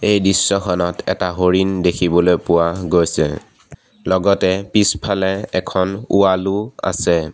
এই দৃশ্যখনত এটা হৰিণ দেখিবলৈ পোৱা গৈছে লগতে পিছফালে এখন ৱাল ও আছে।